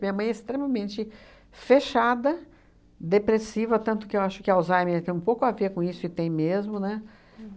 Minha mãe é extremamente fechada, depressiva, tanto que eu acho que Alzheimer tem um pouco a ver com isso, e tem mesmo, né?